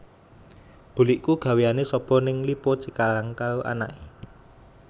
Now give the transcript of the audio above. Bulikku gaweane sobo ning Lippo Cikarang karo anake